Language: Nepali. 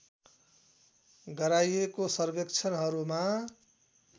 गराइएको सर्वेक्षणहरूमा